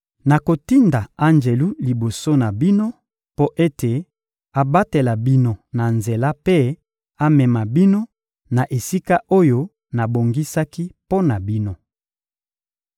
Nakotinda anjelu liboso na bino mpo ete abatela bino na nzela mpe amema bino na esika oyo nabongisaki mpo na bino.